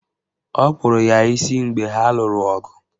Ọ kupuru ya isi mgbe ha lụrụ ọgụ